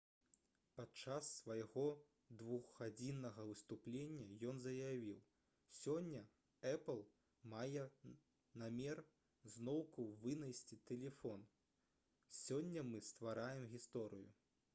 падчас свайго 2-гадзіннага выступлення ён заявіў: «сёння «эпл» мае намер зноўку вынайсці тэлефон. сёння мы ствараем гісторыю»